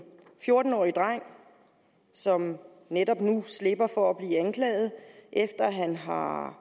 fjorten årig dreng som netop nu slipper for at blive anklaget efter at han har